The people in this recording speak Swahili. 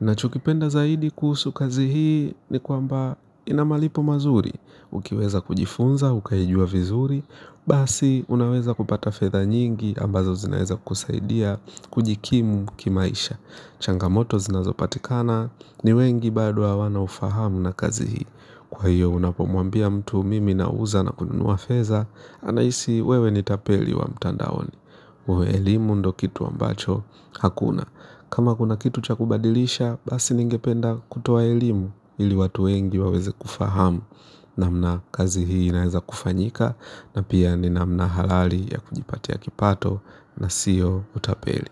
Ninachokipenda zaidi kuhusu kazi hii ni kwamba ina malipo mazuri ukiweza kujifunza ukaijua vizuri. Basi, unaweza kupata fedha nyingi ambazo zinaweza kusaidia kujikimu kimaisha. Changamoto zinazopatikana ni wengi bado hawana ufahamu na kazi hii. Kwa hiyo, unapomwambia mtu, mimi nauza na kununua fedha, anahisi wewe ni tapeli wa mtandaoni. Elimu ndiyo kitu ambacho hakuna. Kama kuna kitu cha kubadilisha, basi ningependa kutoa elimu ili watu wengi waweze kufahamu namna kazi hii inavyoweza kufanyika na pia ni namna halali ya kujipatia kipato na siyo utapeli.